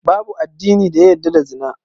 Babu addini da ya yadda da Zina